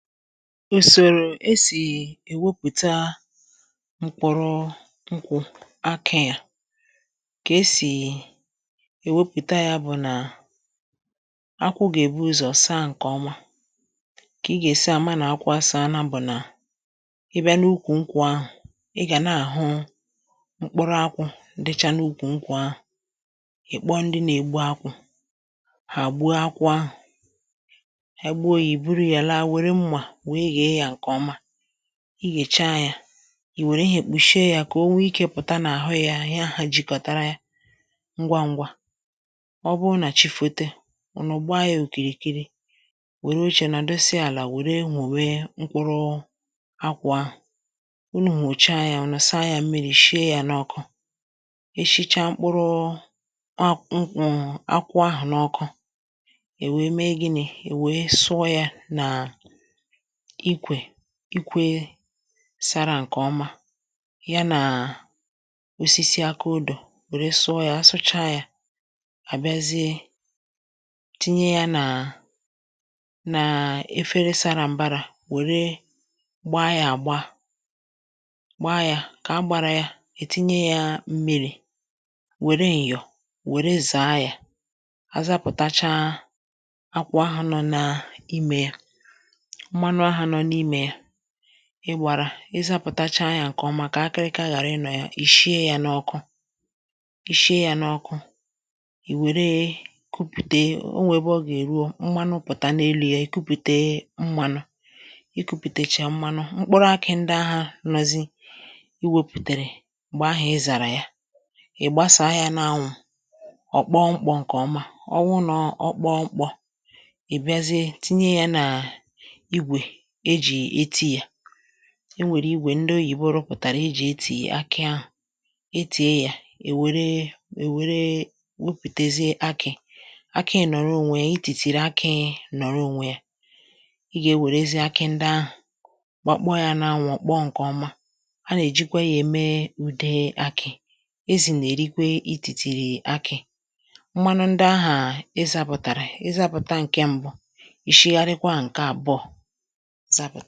ùsòrò e sì èwepụ̀ta mkpụrụ ṅkwụ̄ akị à kà e sì è wepụ̀ta yā bụ̀ nà akwụ gà-èbu ̣ụzọ̀ saa ṅ̀kè ọma kà ị gà-èsi àma nà akwụ asaana bụ̀ nà ị bịa n’ukwù ṅkwụ̄ ahụ̀ ị gà na-àhụ mkpụrụ akwụ̄ dịcha n’ukwù ṅkwụ̄ ahụ̀ ị̀ kpọọ ndị nā-egbu akwụ̄ hà gbuo akwụ ahụ̀ Ha gbuo yā ì buru ya laa wère mmà wèe ghèe yā ṅ̀kè ọma i ghèchaa yā I wère ihēkpuchie ya kà o wee ikē pụ̀ta n’àhụ yā ihe ahụ̄ jikọtara ya ṅgwa ṅ̄gwā ọ bụrụ nà chi foto ùnù gbaa yā òkìrìkiri wère ochē nọ̀dụsịa àlà wère mùwe mkpụrụ akwụ̄ ahụ̀ unù hùchaa yā ùnù saa yā mmirī shie yā n’ọkụ e shichaa mkpụrụ akwụ ṅkwụ̄ akwụ ahụ n’ọkụ è wèe mee gịị è wèe sụọ yā nà ikwè ikwē sara ṅ̀kè ọma ya nà osisi aka odō wère sụọ yā a sụchaa yā hà bịazie tinye yā nà na efere sara m̀barā wère gbaa yā àgba gbaa yā kà a gbara ya è tinye yā mmirī wère m̀yọ̀ wère zàa yā a zapụ̀tachaa akwụ ahà nọ naa imē yā mmanụ aha nọ n’imē yā ị gbārā ị zapụ̀tachaa yā ṅke ọma kà akịrịka ghàra ịnọ̀ ya ì shie yā n’ọkụ ì shie yā n’ọkụ ì wère kupùte o nwè ebe ọ gà-èruo mmanụ pụ̀ta n’elu yā ì kupùte mmānụ̄ i kupùtechaa mmanụ mkpụrụ akị ndị ahà nọzị i wepùtèrè m̀gbe ahà ị zàrà ya ị̀ gbasàa yā n’anwụ̄ ọ̀ kpọọ mkpọ̄ ṅ̀kè ọma ọ wụụ nà ọ kpọọ mkpọ̄ ị̀ bịazie tinye yā nà igwè e jì etī yā e nwèrè igwè ndị oyibo rụpụ̀tàrà e ji etì akị ahụ e tìe yā è wère è wère wepùtezie akị̄ akị nòrọ onwe yē itìtìrì akị̄ nọ̀rọ onwe yā ị gà ewèrezie akị ndị ahụ̀ gbakpọọ yā n’anwụ̄ ọ̀ kpọọ ṅ̀kè ọma ha nà-èjikwe yā ème ude akị̄ ezì nà-èrikwe itìtìrì akị̄ mmanụ ndi ahà ị zāpụ̀tàrà ị zapụ̀ta ṅ̀ke mbụ ì shigharịkwaa ṅ̀ke àbụọ zapụ̀